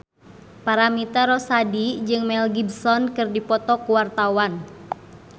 Paramitha Rusady jeung Mel Gibson keur dipoto ku wartawan